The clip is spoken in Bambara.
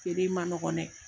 Feere man nɔgɔ dɛ.